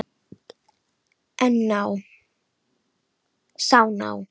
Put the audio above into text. Sá ná